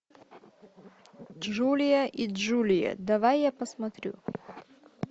джулия и джулия давай я посмотрю